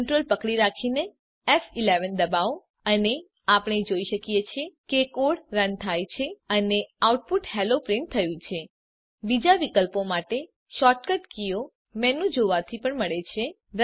Ctrl પકડી રાખીને ફ11 દબાવો અને આપણે જોઈએ છીએ કે કોડ રન થાય છે અને આઉટપુટ હેલ્લો પ્રીંટ થયું છે બીજા વિકલ્પો માટે શૉર્ટકટ કીઓ મેનુમાં જોવાથી મળી શકે છે